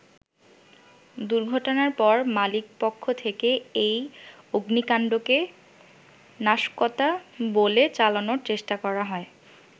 দুর্ঘটনার পর মালিকপক্ষ থেকে এই অগ্নিকান্ডকে নাশকতা বলে চালানোর চেষ্টা করা হয়।